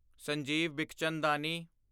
Sanjeev Bikhchandani